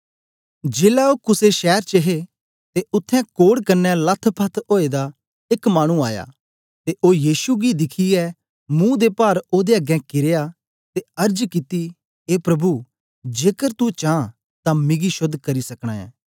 जेलै ओ कुसे शैर च हे ते उत्थें कोढ़ कन्ने लथपथ ओए दा एक मानु आया ते ओ यीशु गी दिखियै मुंह दे पार ओदे अगें कीरया ते अर्ज कित्ती ए प्रभु जेकर तू चां तां मिगी शोद्ध करी सकना ऐं